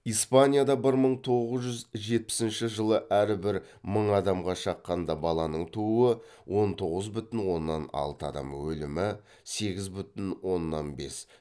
испанияда бір мың тоғыз жүз жетпісінші жылы әрбір мың адамға шаққанда баланың тууы он тоғыз бүтін оннан алты адам өлімі сегіз бүтін оннан бес